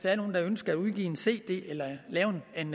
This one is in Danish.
er nogle der ønsker at udgive en cd eller lave en